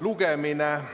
lugemine.